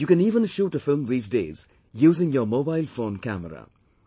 You can even shoot a film these days using your mobile phone camera